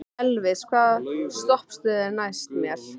Elvis, hvaða stoppistöð er næst mér?